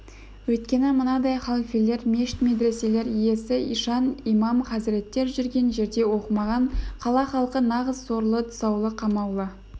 өйткені мынадай халфелер мешіт медреселер иесі ишан имам хазіреттер жүрген жерде оқымаған қала халқы нағыз сорлы тұсаулы қамаулы